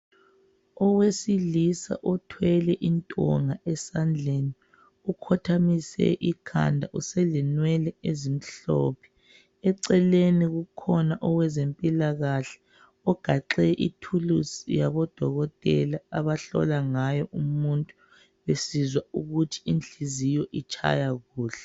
Owesilisa othwele intonga esandleni ukhothamisa ikhanda uselenwele ezimhlophe eceleni kukhona owezempikahle ugaxe ithulusi yabodokotela abahlola ngayo umuntu besizwa ukuthi inhliziyo itshaya njani besizwa ukuthi inhliziyo itshaya kuhle.